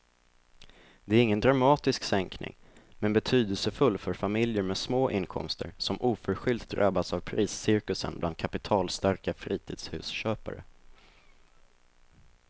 Det är ingen dramatisk sänkning men betydelsefull för familjer med små inkomster som oförskyllt drabbats av priscirkusen bland kapitalstarka fritidshusköpare.